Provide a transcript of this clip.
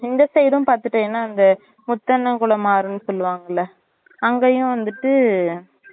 இந்த side உம் பாத்துடேனா அங்க முத்தண்ணன் குளம் மாறி சொல்லு வாங்கல அங்கையும் வந்துட்டு